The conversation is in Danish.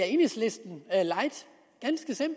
enhedslisten